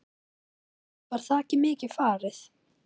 Páll: Var þakið mikið farið?